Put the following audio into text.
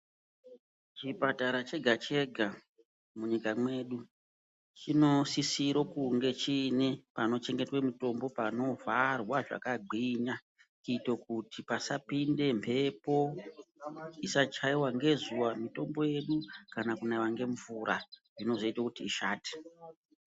Chipatara chega chega munyika mwedu chinosisiro kunge chine panochengetwe mitombo panovharwa zvakagwinya kuite kuti pasapinde mhepo isatyaiwa ngezuwa mitombo yedu kana kunaiwa ngemvura zvinozoite kuti ishate.